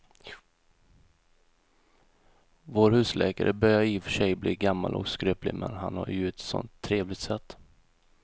Vår husläkare börjar i och för sig bli gammal och skröplig, men han har ju ett sådant trevligt sätt!